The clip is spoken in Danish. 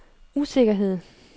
usikkerhed